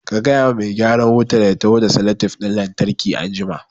Ka gaya wa mai gyaran wutan ya taho da salatef ɗin lantarki anjima